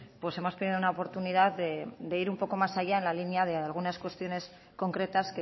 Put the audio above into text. pues hemos perdido una oportunidad de ir un poco más allá en la línea de algunas cuestiones concretas